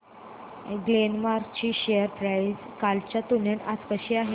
Glenmark ची share price कालच्या तुलनेत आज कशी आहे